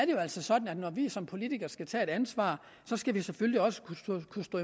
jo altså sådan at når vi som politikere skal tage et ansvar skal vi selvfølgelig også kunne stå på